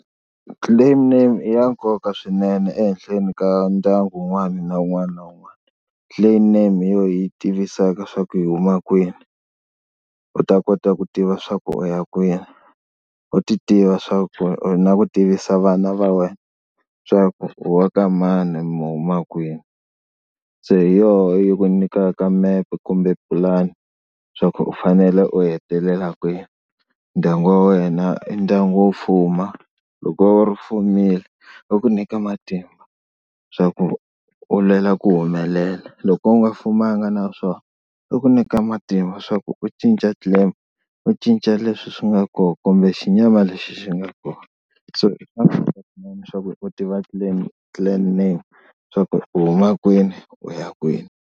Clan name i ya nkoka swinene ehenhleni ka ndyangu un'wana na un'wana na un'wana. Clan name hi yo yi hi tivisaka swa ku hi huma kwini u ta kota ku tiva swa ku u ya kwini, u ti tiva swaku na ku tivisa vana va wena swa ku wa ka mani mi huma kwini. Se hi yona yi ku nyikaka mepe kumbe pulani swa ku u fanele u hetelela kwihi. Ndyangu wa wena i ndyangu wo fuma loko u fumile va ku nyika matimba swa ku u lwela ku humelela loko u nga fumanga na swona i ku nyika matimba swa ku u cinca clan u cinca leswi swi nga kona kumbe xinyama lexi xi nga kona. So i leswaku u tiva clan, clan name swa ku u huma kwini u ya kwini.